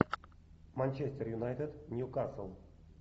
манчестер юнайтед ньюкасл